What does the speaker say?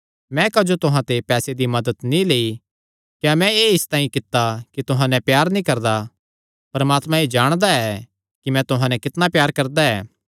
मैं क्जो तुहां ते पैसे दी मदत नीं लेई क्या मैं एह़ इसतांई कित्ता कि तुहां नैं प्यार नीं करदा परमात्मा एह़ जाणदा ऐ कि मैं तुहां नैं कितणा प्यार करदा ऐ